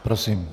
Prosím.